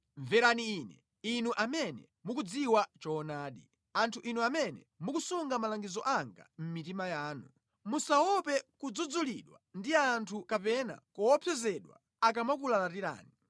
“Mverani Ine, inu amene mukudziwa choonadi, anthu inu amene mukusunga malangizo anga mʼmitima yanu; musaope kudzudzulidwa ndi anthu kapena kuopsezedwa akamakulalatirani.